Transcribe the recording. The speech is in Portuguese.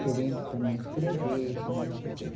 Querendo também escrever, também não sei o quê.